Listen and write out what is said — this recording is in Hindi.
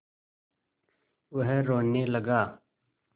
वह रोने लगा